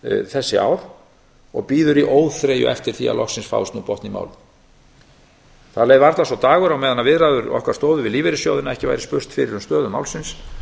þessi ár og bíður í óþreyju eftir því að loksins fáist nú botn í málið það leið varla sá dagur á meðan viðræður okkar stóðu við lífeyrissjóðina að ekki væri spurst fyrir um stöðu málsins